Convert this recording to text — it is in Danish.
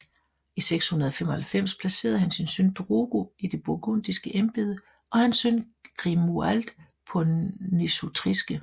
I 695 placerede han sin søn Drogo i det burgundiske embede og hans søn Grimoald på nesutriske